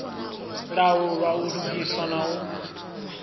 laulwa u lugiswa na u